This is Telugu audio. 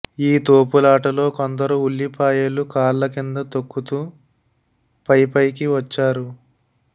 ఈ తోపులాటలో కొందరు ఉల్లిపాయలు కాళ్ల కింద తొక్కుతూ పైపైకి వచ్చారు